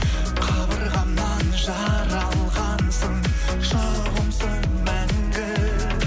қабырғамнан жаралғансың жұбымсың мәңгі